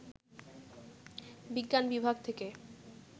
বিজ্ঞান বিভাগ থেকে